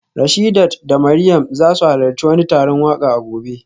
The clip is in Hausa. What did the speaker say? Rashidat da Mariam za su halarci wani taron waka a gobe